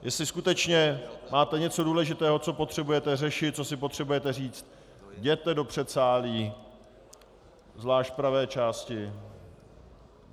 Jestli skutečně máte něco důležitého, co potřebujete řešit, co si potřebujete říci, jděte do předsálí, zvlášť v pravé části.